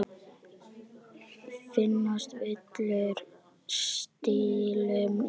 Finnast villur stílum í.